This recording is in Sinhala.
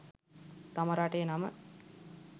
තම රටේ නම